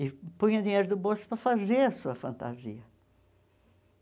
E punha dinheiro do bolso para fazer a sua fantasia.